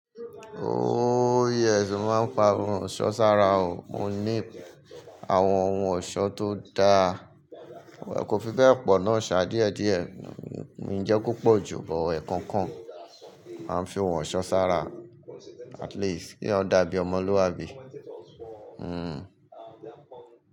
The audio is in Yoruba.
Ooo yẹẹ́, ṣù máa ń pa ohun ọ̀ṣọ́ sára o. Mo ní àwọn ohun ọ̀ṣọ́ tó da, wà á kò fi bẹ́ẹ̀ pọ̀n-ọ́n ṣa díẹ̀díẹ̀, ìjẹ́ púpọ̀ jù, bọ́ ẹ̀ẹ̀kan kan a ń fi ohun ọ̀ṣọ́ sára. At least kí ó dàbí ọmọlúwàbí. Hmm.